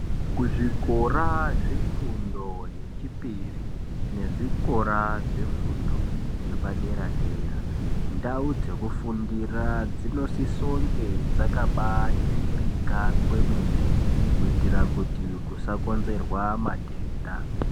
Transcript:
Kuzvikora zvefundo yechipiri nezvikora zvefundo yepadera dera ndau dzekufundira dzinosise kunge dzakabaningirika kwemene kuitira kuti kusakonzerwe matenda.